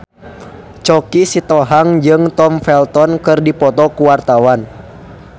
Choky Sitohang jeung Tom Felton keur dipoto ku wartawan